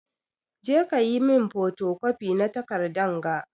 Je ka yi min fotocopi na takardan ga!